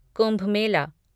Kumbh Mela